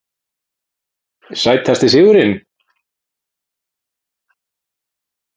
Sætasti sigurinn?